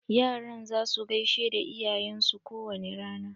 Yaran za su gaishe da iyayen su ko wani rana.